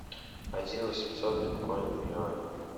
один восемьсот биткоин в юанях